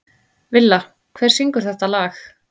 Villa, hver syngur þetta lag?